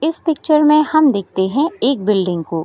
इस पिक्चर में हम देखते हैं एक बिल्डिंग को।